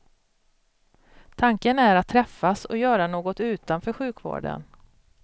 Tanken är att träffas och göra något utanför sjukvården.